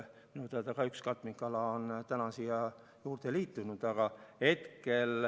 Minu teada on üks katmikala sinna juurde tulnud.